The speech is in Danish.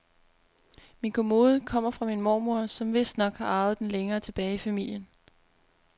Min kommode kommer fra min mormor, som vistnok har arvet den længere tilbage i familien.